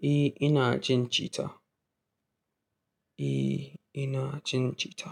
Eh, ina cin cita. Eh, ina cin cita.